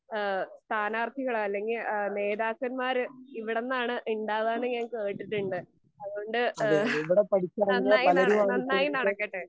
ഏഹ് സ്ഥാനാർത്ഥികളെ അല്ലെങ്കി ഏഹ് നേതാക്കന്മാർ ഇവിടന്നാണ് ഇണ്ടാവാന്ന് ഞാൻ കേട്ടിട്ടുണ്ട്. അതുകൊണ്ട് ഏഹ് നന്നായി നന്നായി നടക്കട്ടെ.